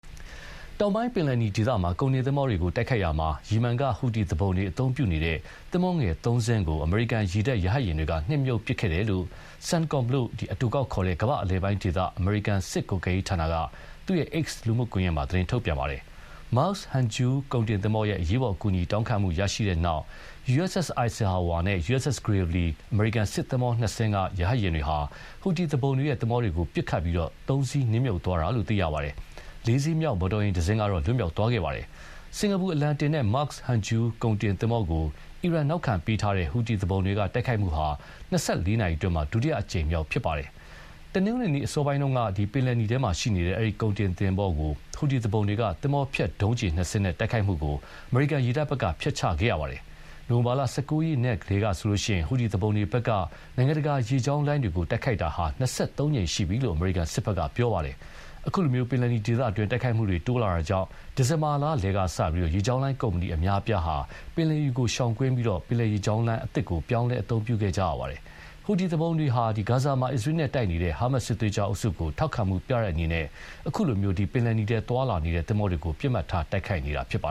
တောင်ပိုင်း ပင်လယ်နီဒေသမှာ ကုန်တင်သင်္ဘောတွေကို တိုက်ခိုက်ရာမှာ ယီမန်က ဟူသီသူပုန်တွေအသုံးပြုတဲ့ သင်္ဘောငယ်သုံးစင်းကို အမေရိကန်ရေတပ်ရဟတ်ယာဉ်တွေက နှစ်မြှုပ်ပစ်ခဲ့တယ်လို့ CENTCOM လို့ အတိုကောက်ခေါ်တဲ့ ကမ္ဘာ့အလယ်ပိုင်းဒေသ အမေရိကန်စစ်ကွပ်ကဲရေးဌာနက X လူမှုကွန်ယက်မှာ သတင်းထုတ်ပြန်ပါတယ်။ Maersk Hangzhou ကုန်တင်သင်္ဘောရဲ့ အရေးပေါ်အကူအညီတောင်းခံမှုရရှိတဲ့နောက် USS Eisenhower နဲ့ USS Gravely အမရိကန်စစ်သင်္ဘောနှစ်စင်းက ရဟတ်ယာဉ်တွေဟာ ဟူသီသူပုန်တွေရဲ့ သင်္ဘောတွေကိုပစ်ခတ်ပြီး သုံးစင်းနစ်မြုပ်သွားတာလို့ သိရပါတယ်။ လေးစင်းမြောက် မော်တော်တစင်းကတော့ လွတ်မြောက်သွားခဲ့ပါတယ်။ စင်ကာပူအလံတင် Maersk Hangzhou ကုန်တင်သင်္ဘောကို အီရန်နောက်ခံပေးထားတဲ့ ဟူသီသူပုန်တွေက တိုက်ခိုက်မှုဟာ ၂၄ နာရီအတွင်း ဒုတိယအကြိမ်မြောက် တိုက်ခိုက်တာဖြစ်ပါတယ်။ တနင်္ဂနွေနေ့ အစောပိုင်းတုန်းက ပင်လယ်နီထဲရှိနေတဲ့ အဲဒီကုန်တင်သင်္ဘောကြီးကို ဟူသီသူပုန်တွေက သင်္ဘောဖျက်ဒုံးကျည်နှစ်စင်းနဲ့ တိုက်ခိုက်မှုကို အမေရိကန်ရေတပ်က ဖျက်ချခဲ့ရပါတယ်။ နိုဝင်ဘာ ၁၉ ရက်နေ့ကတည်းကဆိုရင် ဟူသီသူပုန်တွေဘက်က နိုင်ငံတကာရေကြောင်းလိုင်းတွေကို တိုက်ခိုက်မှု ၂၃ ကြိမ်ရှိပြီလို့ အမေရိကန်စစ်ဘက်က ပြောပါတယ်။ အခုလို ပင်လယ်နီအတွင်း တိုက်ခိုက်မှုတွေတိုးလာတာကြာင့် ဒီဇင်ဘာလလယ်ကစပြီး ရေကြောင်းလိုင်းကုမ္ပဏီအများအပြားဟာ ပင်လယ်နီကိုရှောင်ပြီး ပင်လယ်ရေလမ်းကြောင်းတွေကို ပြောင်းလဲ အသုံးပြုခဲ့ကြရပါတယ်။ ဟူသီသူပုန်တွေမှာ ဂါဇာမှာ အစ္စရေးနဲ့တိုက်နေတဲ့ ဟာမတ်စစ်သွေးကြွအုပ်စုကို ထောက်ခံမှုပြတဲ့အနေနဲ့ အခုလို ပင်လယ်နီထဲသွားလာနေတဲ့ သင်္ဘောတွေကို ပစ်မှတ်ထားတိုက်ခိုက်နေတာပါ